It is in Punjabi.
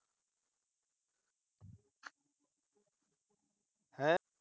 ਹੈਂ।